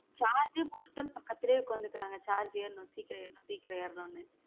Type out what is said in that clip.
Charge போட்டுட்டாலும் பக்கத்துல உக்காந்துக்குறாங்க charge ஏறனும் சீக்கிரம் ஏறனும் சீக்கிரம் ஏறனும்னு.